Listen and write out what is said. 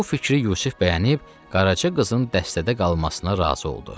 Bu fikri Yusif bəyənib qaraçı qızın dəstədə qalmasına razı oldu.